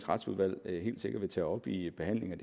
retsudvalg helt sikkert vil tage op i behandlingen